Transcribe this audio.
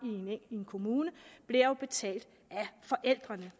i en kommune bliver betalt af forældrene